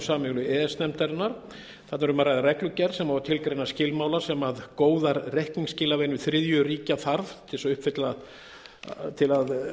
e s nefndarinnar þarna er um að ræða reglugerð sem á að tilgreina skilmála sem góðar reikningsskilavenjur þriðju ríkja þarf til þess að